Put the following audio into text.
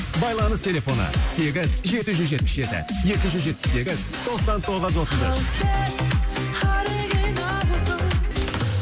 байланыс телефоны сегіз жетіз жүз жетпіс жеті екі жүз жетпіс сегіз тоқсан тоғыз отыз үш ал сен оригиналсың